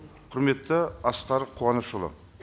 құрметті асқар қуанышұлы